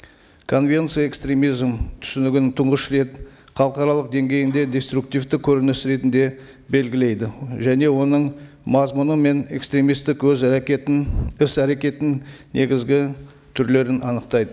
конвенция экстремизм түсінігін тұңғыш рет халықаралық деңгейінде деструктивті көрініс ретінде белгілейді және оның мазмұны мен экстремисттік өз әрекетін іс әрекетінің негізгі түрлерін анықтайды